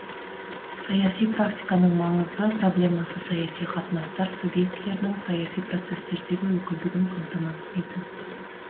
саяси практиканың маңызды проблемасы саяси қатынастар субъектілерінің саяси процестердегі өкілдігін камтамасыз ету